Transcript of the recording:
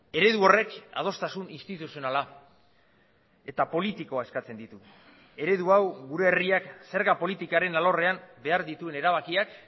eredu horrek adostasun instituzionala eta politikoa eskatzen ditu eredu hau gure herriak zerga politikaren alorrean behar dituen erabakiak